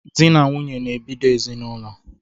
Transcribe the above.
Dị na nwunye na-ebido ezinaụlọ